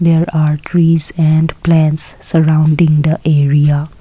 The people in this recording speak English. there are trees and plants surrounding the area.